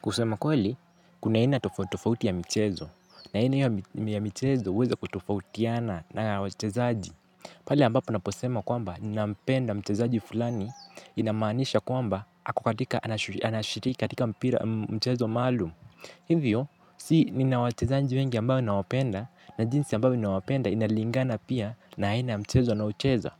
Kusema kweli, kuna aina tofauti tofauti ya mchezo na aima hiyo ya michezo huweza kutofautiana na wachezaji. Pale ambapo naposema kwamba nina mpenda mchezo fulani inamaanisha kwamba aku katika mchezo maalum. Hivyo, si nina wachezaji wengi ambao nina wapenda na jinsi ambavyo nina wapenda inalingana pia na aina ya mchezo wanaocheza.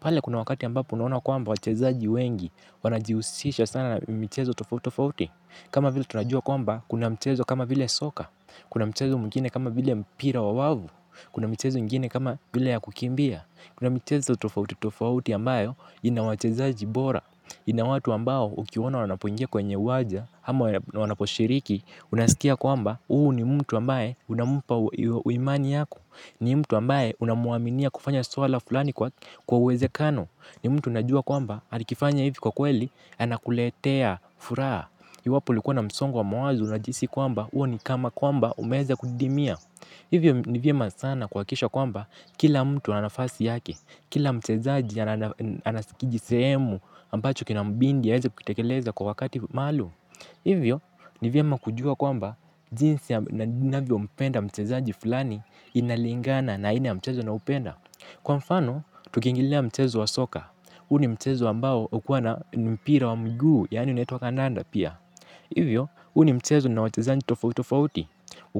Pale kuna wakati ambapo unaona kwamba wachezaji wengi wanajihusisha sana na michezo tofauti tofauti. Kama vile tunajua kwamba kuna mchezo kama vile soka, kuna mchezo mwingine kama vile mpira wa wavu, kuna mchezo mwingine kama vile ya kukimbia, kuna mchezo tofauti tofauti ambayo inawachezaji bora ina watu ambao ukiwaona wanapoingia kwenye uwanja ama wanaposhiriki unaskia kwamba huu ni mtu ambaye unampa imani yako ni mtu ambaye unamuaminia kufanya swala fulani kwa kwa uwezekano ni mtu unajua kwamba alikifanya hivi kwa kweli anakuletea furaha. Iwapo ulikuwa na msongo wa mawazo unajihisi kwamba huo ni kama kwamba umeweza kudimia. Hivyo ni vyema sana kuhakikisha kwamba kila mtu ana nafasi yake. Kila mchezaji anasikiji seemu ambacho kinambindi ya heze kutakeleza kwa wakati malu. Hivyo ni vyema kujua kwamba jinsi ninavyo mpenda mchezaji fulani inalingana na aina ya mchezo na upenda. Kwa mfano tuki ingilia mchezo wa soka. Huu ni mchezo ambao hukuwa na mpira wa mguu yaani unaitwa kandanda pia. Hivyo, huu ni mchezo una wachezaji tofauti tofauti.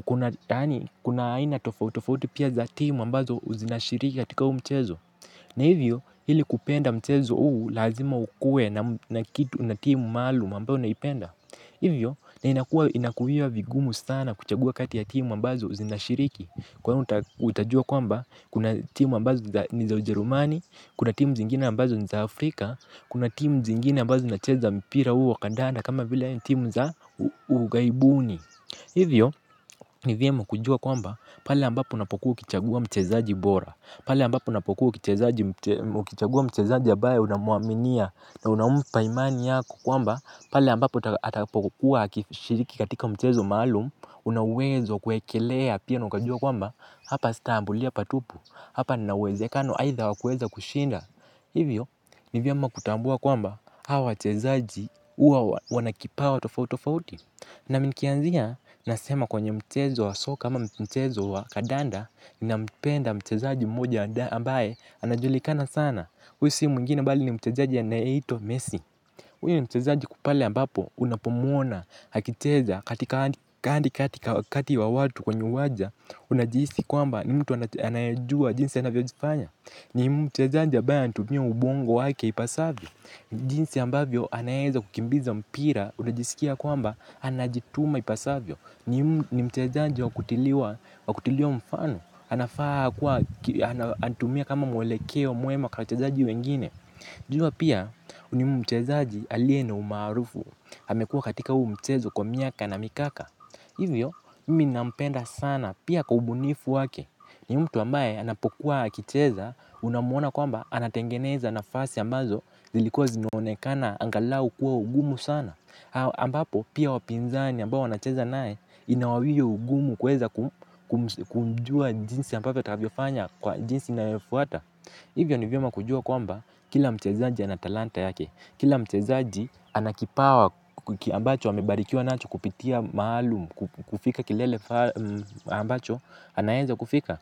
Kunaani, kuna aina tofautofauti pia za timu ambazo uzinashiriki katika hu mchezo. Ni hivyo ili kupenda mchezo huu lazima ukuee na kitu na timu maalum ambayo unaipenda. Hivyo na inakuwa vigumu sana kuchagua kati ya timu ambazo zinashiriki. Kwa hiyo utajua kwamba kuna timu ambazo ni za ujerumani. Kuna timu zingine ambazo ni za Afrika. Kuna timu zingine ambazo zina cheza mpira huo wa kandana kama vile timu za ughaibuni hivyo ni vyema kujua kwamba pale ambapo unapokuwa ukichagua mchezaji bora pale ambapo unapokuwa ukichagua mchezaji ambaye unamuaminia na unampa imani yako. Kwamba pale ambapo atapokuwa akishiriki katika mchezo maalum una uwezo wa kuekelea pia na ukajua kwamba hapa sita ambulia patupu. Hapa nina uwezekano aidha wa kuweza kushinda. Hivyo, ni vyema kutambua kwamba hawa wachezaji huwa wanakipawa tofauti tofauti. Na nikianzia nasema kwenye mchezo wa soka ama mchezo wa kandanda nampenda mchezaji mmoja ambaye anajulikana sana. Huu si mwingine bali ni mchezaji anayeitwa Messi. Huyu mchezaji pale ambapo unapo mwona akicheza katikati ya watu kwenye uwamja unajihisi kwamba ni mtu anayejua jinsi anavyojifanya. Ni mchezaji ambaye anatumia ubongo wake ipasavyo. Jinsi ambavyo anaweza kukimbiza mpira unajisikia kwamba anajituma ipasavyo. Ni mchezaji wa kutiliwa mfano. Anafaa kuwa anatumia kama mwelekeo mwema kwa wachezaji wengine. Jua pia ni mchezaji aliye na umaarufu amekuwa katika huu mchezo kwa miaka na mikaka. Hivyo, mimi nampenda sana pia kwa ubunifu wake. Ni mtu ambaye anapokuwa akicheza unamuona kwamba anatengeneza nafasi ambazo zilikuwa zinaonekana angalau kuwa ugumu sana ambapo pia wapinzani ambao anacheza naye ina hiyo ugumu kuweza kumjua jinsi ambavyo atakavyofanya kwa jinsi na efuata. Hivyo ni vyoma kujua kwamba kila mchezaji anatalanta yake. Kila mchezaji anakipawa ambacho wamebarikiuwa nacho kupitia maalum, kufika kilele ambacho, anaenza kufika.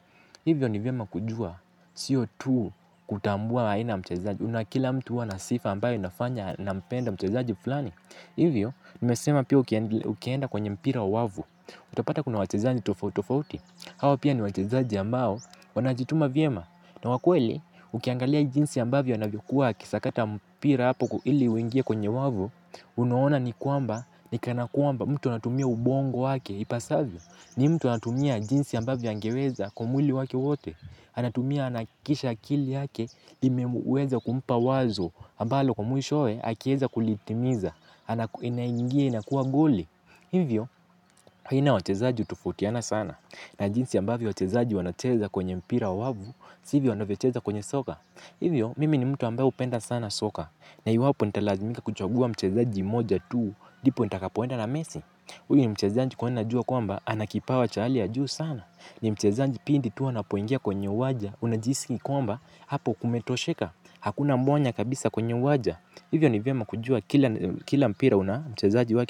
Hivyo ni vyema kujua siyo tu kutambua aina ya mchezaji. Una kila mtu huwa na sifa ambayo inafanya nampenda mchezaji fulani. Hivyo, nimesema pia ukienda kwenye mpira wa wavu. Utapata kuna wachezaji tofauti tofauti. Hawa pia ni wachezaji ambao wanajituma vyema. Na wa kweli ukiangalia jinsi ambavyo anavyokuwa aki sakata mpira hapo ili uingie kwenye wavu, unuona ni kuamba, ni kanakuamba mtu natumia ubongo wake, ipasavyo, ni mtu natumia jinsi ambavyo angeweza kumuli wake wote, anatumia anakisha kili haki, imeweza kumpa wazo, ambalo kumuhishoe, akieza kulitimiza, ina ingia inakuwa goli. Hivyo, aina ya wachezaji hutofautiana sana. Na jinsi ambavyo wachezaji wanacheza kwenye mpira wa wavu. Sivyo wanavyocheza kwenye soka. Hivyo, mimi ni mtu ambaye hupenda sana soka. Na iwapo nitalazimika kuchagua mchezaji mmoja tu ndipo nitakapo enda na mesi huyu ni mchezaji kwani najua kwamba ana kipawa cha hali ya juu sana. Ni mchezaji pindi tu anapoingia kwenye uwanja. Unajihisi ni kwamba hapo kumetosheka hakuna mwanya kabisa kwenye uwanja hivyo ni vyema kujua kila mpira kina wachezaji wake.